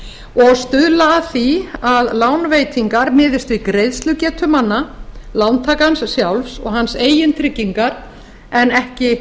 og stuðla að því að lánveitingar miðist við greiðslugetu manna lántakandans sjálfs og hans eigin tryggingar en ekki